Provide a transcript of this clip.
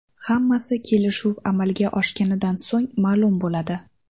Hammasi kelishuv amalga oshganidan so‘ng ma’lum bo‘ladi.